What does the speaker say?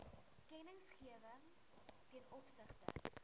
kennisgewing ten opsigte